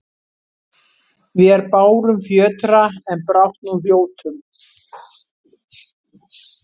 Vér bárum fjötra, en brátt nú hljótum